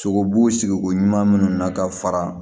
Sogobu sogo ɲuman minnu na ka fara